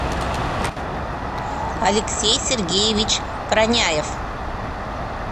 алексей сергеевич проняев